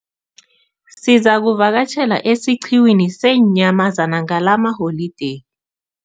Sizakuvakatjhela esiqhiwini seenyamazana ngalamaholideyi.